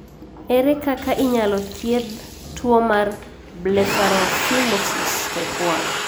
Ere kaka inyalo thiedh tuwo mar Blepharophimosis type 1?